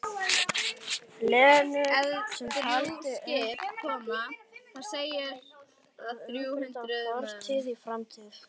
Lenu sem taldi unnt að umbreyta fortíð í framtíð.